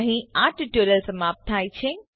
અહીં આ ટ્યુટોરીયલ સમાપ્ત થાય છે